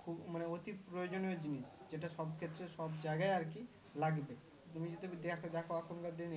খুব মানে উচিত প্রয়োজনীয় জিনিস যেটা সব ক্ষেত্রে সব জায়গায় আর কি লাগবে তুমি যদি দেখো এখন কার দিনে